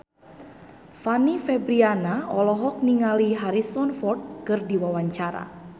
Fanny Fabriana olohok ningali Harrison Ford keur diwawancara